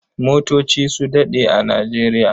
Motoci su daɗe a Nijeriya.